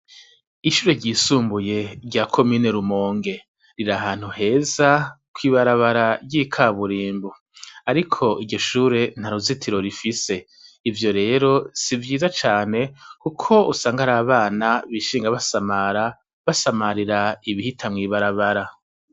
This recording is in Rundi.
Ishure ryisumbuye rya komine Rumonge. Riri ahantu heza kw'ibarabara ry'ikaburimbo. Ariko iryo shure nta ruzitiro rifise. Ivyo rero si vyiza cane kuko usanga hari abana bishinga basamara, basamarira ibihita mw'ibarabara.